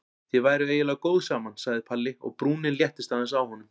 Þið væruð eiginlega góð saman sagði Palli og brúnin léttist aðeins á honum.